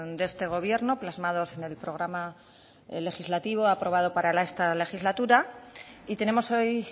de este gobierno plasmados en el programa legislativo aprobado para esta legislatura y tenemos hoy